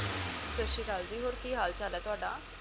ਸਤਿ ਸ਼੍ਰੀ ਅਕਾਲ ਜੀ ਹੋਰ ਕੀ ਹਾਲ ਚਾਲ ਐ ਤੁਹਾਡਾ